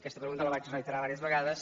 aquesta pregunta la vaig reiterar vàries vegades